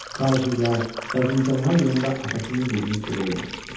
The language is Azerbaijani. tacirlər, vəzirganlar yanında atasının dilini gödələmişdi.